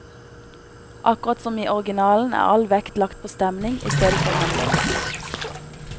Akkurat som i originalen er all vekt lagt på stemning i stedet for handling.